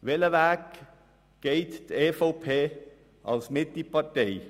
Welchen Weg geht die EVP als Partei der Mitte?